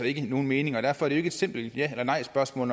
ikke nogen mening og derfor er det ikke et simpelt ja eller nejspørgsmål